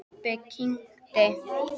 Pabbi kyngdi.